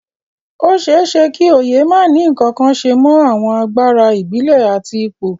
Ó ṣeé ṣe kí oyè má ní ǹkankan ṣe mọ àwọn agbára ìbílẹ̀ àti ipò